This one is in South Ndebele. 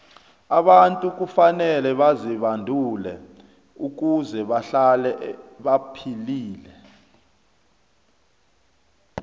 abantu kufanele bazibandule ukuze bahlale baphilile